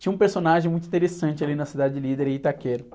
Tinha um personagem muito interessante ali na cidade de Líder, em Itaquera.